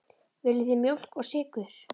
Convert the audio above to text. Viljið þið mjólk og sykur?